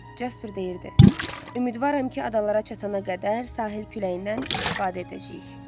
Casper deyirdi: "Ümidvaram ki, adalara çatana qədər sahil küləyindən istifadə edəcəyik".